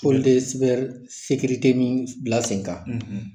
K'olu de ye min bila sen kan